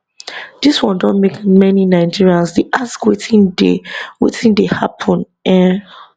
dis one don make many nigerians dey ask wetin dey wetin dey happun um